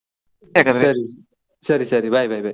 ಸರಿ ಸರಿ bye, bye, bye .